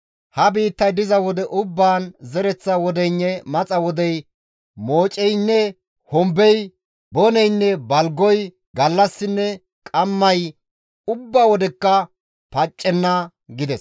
Ha biittay diza wode ubbaan zereththa wodeynne maxa wodey mooceynne hombey, boneynne balgoy, gallassinne qammay ubba wodekka paccenna» gides.